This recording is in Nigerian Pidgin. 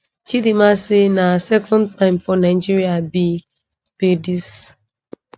chidimma say na her second time for nigeria be be dis